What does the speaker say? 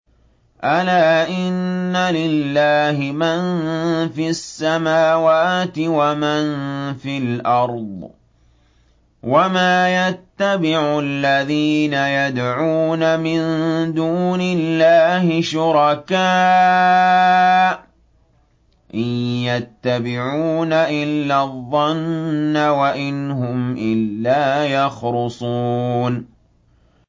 أَلَا إِنَّ لِلَّهِ مَن فِي السَّمَاوَاتِ وَمَن فِي الْأَرْضِ ۗ وَمَا يَتَّبِعُ الَّذِينَ يَدْعُونَ مِن دُونِ اللَّهِ شُرَكَاءَ ۚ إِن يَتَّبِعُونَ إِلَّا الظَّنَّ وَإِنْ هُمْ إِلَّا يَخْرُصُونَ